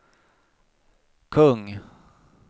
kung